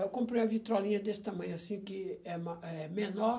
Eu comprei a vitrolinha desse tamanho, assim, que é ma é menor.